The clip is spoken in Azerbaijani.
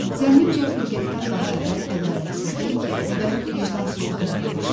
Zənnimcə xilqətdən daha əvvəl ədalətsizlik və vicdansızlıq yaranmışdı.